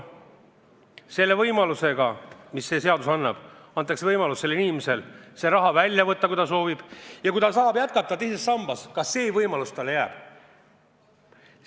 Selle seadusega antakse inimesele võimalus raha välja võtta, kui ta soovib, ja kui ta tahab jätkata teises sambas kogumist, siis ka see võimalus jääb talle alles.